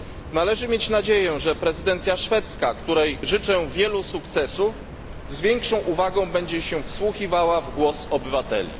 Należy mieć nadzieję, że prezydencja szwedzka, której życzę wielu sukcesów, z większą uwagą będzie się wsłuchiwała w głos obywateli.